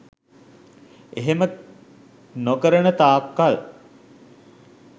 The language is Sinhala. එහෙම නොකරන තාක් කල්